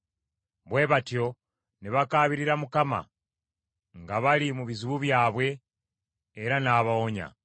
Bwe batyo ne bakaabirira Mukama nga bali mu bizibu byabwe, era n’abawonya;